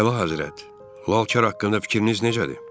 Əlahəzrət, Lalkar haqqında fikriniz necədir?